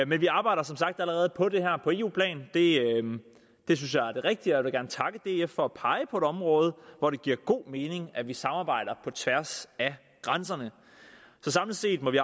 men vi arbejder som sagt allerede på det her på eu plan det synes jeg er det rigtige og jeg vil gerne takke df for at pege på et område hvor det giver god mening at vi samarbejder på tværs af grænserne så samlet set må vi